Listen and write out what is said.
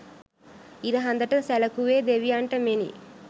ඉර හඳ ට සැලකුවේ දෙවියන්ට මෙනි.